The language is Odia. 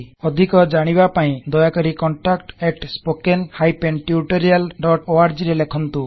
ଅଧିକ ଜାଣିବା ପାଇଁ ଦୟାକରି contactspoken tutorialorg ରେ ଲେଖନ୍ତୁ